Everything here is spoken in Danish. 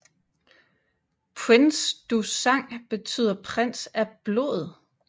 Prince du sang betyder prins af blodet